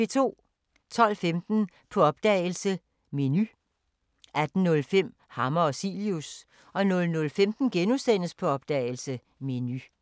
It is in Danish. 12:15: På opdagelse – Menu 18:05: Hammer og Cilius 00:15: På opdagelse – Menu *